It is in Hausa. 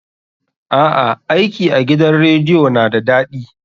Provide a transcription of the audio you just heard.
A'a, aiki a gidan rediyo na da daɗi.